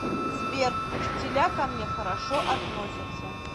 сбер учителя ко мне хорошо относятся